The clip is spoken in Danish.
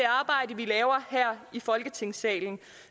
arbejde vi laver her i folketingssalen